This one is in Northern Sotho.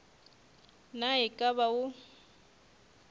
na e ka ba o